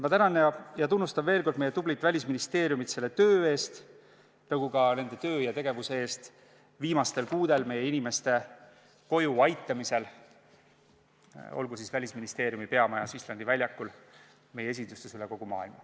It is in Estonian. Ma tänan ja tunnustan veel kord meie tublit Välisministeeriumi selle töö eest, nagu ka nende töö ja tegevuse eest viimastel kuudel meie inimeste koju aitamisel, olgu siis Välisministeeriumi peamajas Islandi väljakul või meie esindustes üle kogu maailma.